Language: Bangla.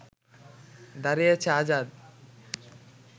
দাঁড়িয়েছে আজাদ